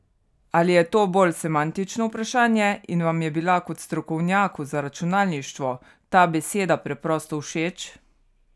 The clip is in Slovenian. Ali je to bolj semantično vprašanje in vam je bila kot strokovnjaku za računalništvo ta beseda preprosto všeč?